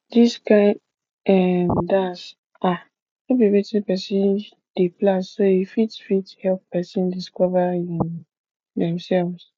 dis kind um dance um no be wetin person dey plan so e fit fit help person discover um themselves